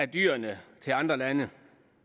dyrene til andre lande